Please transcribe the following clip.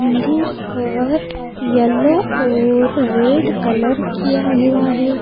मंदिर पर येलो और रेड कलर किया हुआ है।